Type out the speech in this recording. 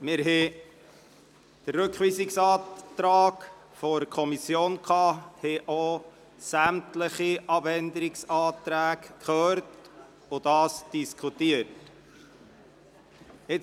Wir behandelten den Rückweisungsantrag der Kommission sowie sämtliche Abänderungsanträge, welche diesen diskutieren.